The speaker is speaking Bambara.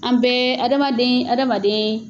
An bɛɛ, adamaden adamaden